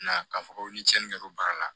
Na k'a fɔ ko ni cɛnni kɛra o baara la